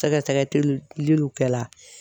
Tɛgɛ tɛgɛ teliw kɛ la